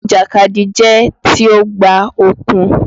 Eré ìjàkadì jẹ́ tí ó gba okun